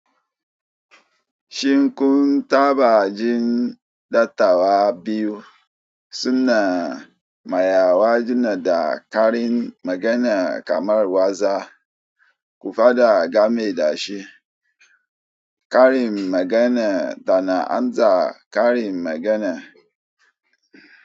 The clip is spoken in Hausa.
Shin kun taɓa jin dattawa biyu suna mayarwa juna da karin magana kamar waza, kuma faɗa game da shi? Karin magana tana amsa karin magana.